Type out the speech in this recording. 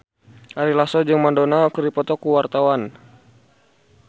Ari Lasso jeung Madonna keur dipoto ku wartawan